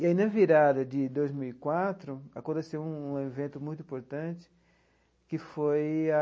E aí, na virada de dois mil e quatro, aconteceu um evento muito importante, que foi a...